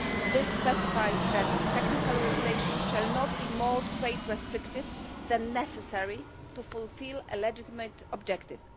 This specifies that technical regulations shall not be more trade restrictive than necessary to fulfil a legitimate objective.